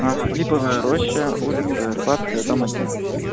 липовая роща улица арбатская дом один